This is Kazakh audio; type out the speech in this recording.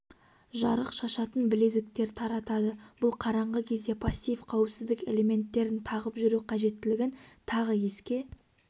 жарық шашатын білезіктер таратады бұл қараңғы кезде пассив қауіпсіздік элементтерін тағып жүру қажеттілігін тағы еске